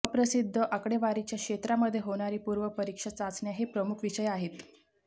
अप्रसिद्ध आकडेवारीच्या क्षेत्रामध्ये होणारी पूर्व परीक्षा चाचण्या हे प्रमुख विषय आहेत